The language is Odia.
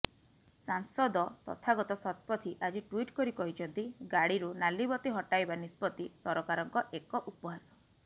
ସାଂସଦ ତଥାଗତ ଶତପଥୀ ଆଜି ଟ୍ୱିଟ୍ କରି କହିଛନ୍ତି ଗାଡିରୁ ନାଲିବତୀ ହଟାଇବା ନିଷ୍ପତି ସରକାରଙ୍କ ଏକ ଉପହାସ